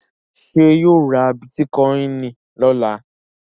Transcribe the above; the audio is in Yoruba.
Ṣé yóò ra bítíkọ́ìn lọ́la?